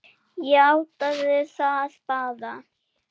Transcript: Játaðu það bara!